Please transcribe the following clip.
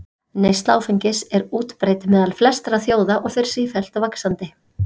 Neysla áfengis er útbreidd meðal flestra þjóða og fer sífellt vaxandi.